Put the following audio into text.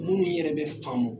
Minnu yɛrɛ bɛ faamu